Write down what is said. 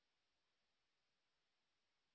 এই লিঙ্ক এ উপলব্ধ ভিডিও টি দেখুন